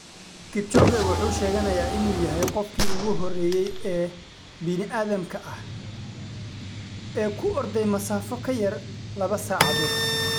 Kipchoge wuxuu sheeganayaa inuu yahay qofkii ugu horreeyey ee bini'aadamka ah ee ku orday masaafo ka yar laba saacadood.